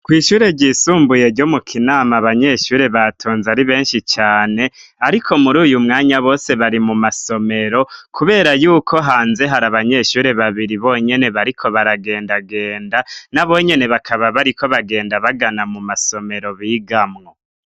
Kw'ishure ryisumbuye ryo mu Kinama abanyeshure batonze ari benshi cane, ariko muri uyu mwanya bose bari mu masomero, kubera y'uko hanze hari abanyeshure babiri bonyene bariko baragendagenda. Nabo nyene bakaba bariko bagenda bagana mu masomero bigamwo.